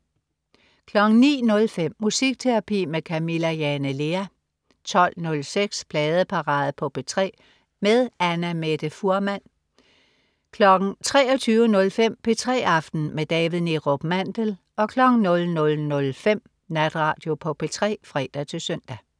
09.05 Musikterapi med Camilla Jane Lea 12.06 Pladeparade på P3 med Annamette Fuhrmann 23.05 P3 aften med David Neerup Mandel 00.05 Natradio på P3 (fre-søn)